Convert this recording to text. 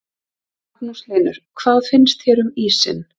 Magnús Hlynur: Hvað finnst þér um ísinn?